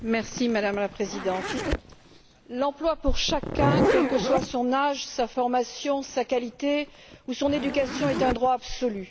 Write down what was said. Madame la Présidente, l'emploi pour chacun, quels que soient son âge, sa formation, sa qualité ou son éducation, est un droit absolu.